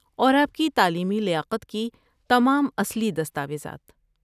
اور آپ کی تعلیمی لیاقت کی تمام اصلی دستاویزات۔